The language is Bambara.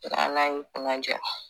N'ala y'i kunaja